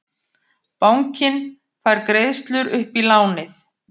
Bankinn fær greiðslur upp í lánið